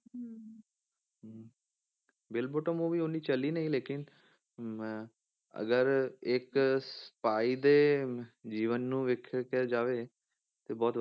bill bottom ਉਹ ਵੀ ਇੰਨੀ ਚੱਲੀ ਨਹੀਂ ਲੇਕਿੰਨ ਮੈਂ ਅਗਰ ਇੱਕ spy ਦੇ ਜੀਵਨ ਨੂੰ ਵੇਖਿਆ ਜਾਵੇ ਤੇ ਬਹੁਤ,